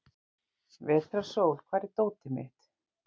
Vetrarrós, hvar er dótið mitt?